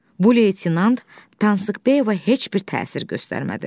Bu Leytenant Tansıkbəyə heç bir təsir göstərmədi.